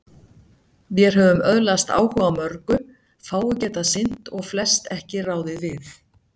Vér höfum öðlast áhuga á mörgu, fáu getað sinnt og flest ekki ráðið við.